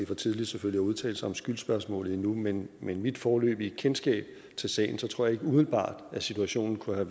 for tidligt at udtale sig om skyldsspørgsmålet men med mit foreløbige kendskab til sagen tror jeg ikke umiddelbart at situationen kunne være